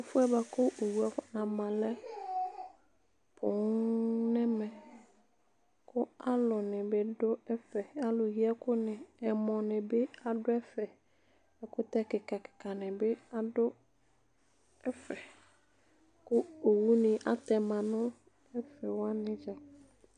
Ɛfu bua ku owu afɔna malɛ poo n'ɛmɛ ku alu ni bi du ɛfɛ, alu yi ɛku ni ɛmɔ nɩ bi adu ɛfɛ, ɛkutɛ kika kika ni bi adu ɛfɛ ku owu ni atɛma nu ɛfɛ wani dza